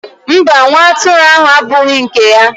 mba, nwa atụrụ ahụ abụghị nke anyị.